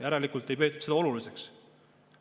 Järelikult ei peeta seda oluliseks.